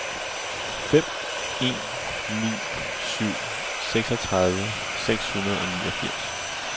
fem en ni syv seksogtredive seks hundrede og niogfirs